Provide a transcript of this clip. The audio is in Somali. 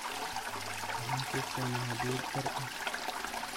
Waxan kuugeeney xadiyat dhaar eeh.